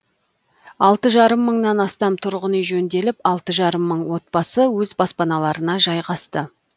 алты жарым мыңнан астам тұрғын үй жөнделіп алты жарым мың отбасы өз баспаналарына жайғасты